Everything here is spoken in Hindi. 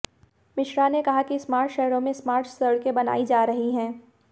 मिश्रा ने कहा कि स्मार्ट शहरों में स्मार्ट सड़कें बनायी जा रही हैं